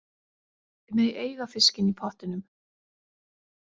Þið megið eiga fiskinn í pottinum.